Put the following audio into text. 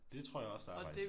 Det tror jeg også der er faktisk